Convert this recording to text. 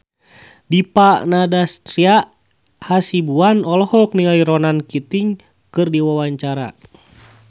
Dipa Nandastyra Hasibuan olohok ningali Ronan Keating keur diwawancara